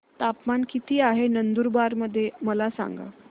तापमान किता आहे नंदुरबार मध्ये मला सांगा